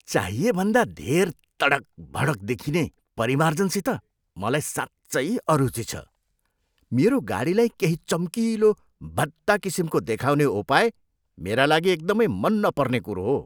चाहिए भन्दा धेर तडक भडक देखिने परिमार्जनसित मलाई साँच्चै अरुची छ। मेरो गाडीलाई केही चम्किलो, भद्दा किसिमको देखाउने उपाय मेरा लागि एकदमै मन नपर्ने कुरो हो।